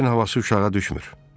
Qəlbin havası uşağa düşmür.